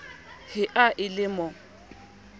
he ha e le mo